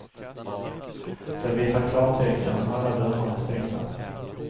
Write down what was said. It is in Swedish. Den visar klartecken om alla dörrar är stängda.